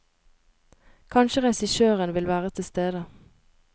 Kanskje regissøren vil være tilstede.